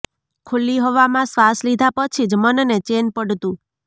ખુલ્લી હવામાં શ્વાસ લીધા પછી જ મનને ચેન પડતું